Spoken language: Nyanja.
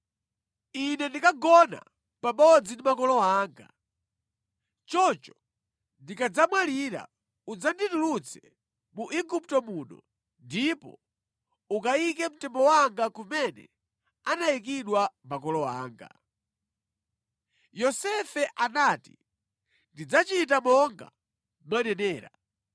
Ine ndikagona pamodzi ndi makolo anga. Choncho ndikadzamwalira udzanditulutse mu Igupto muno ndipo ukayike mtembo wanga kumene anayikidwa makolo anga.” Yosefe anati, “Ndidzachita monga mwanenera.”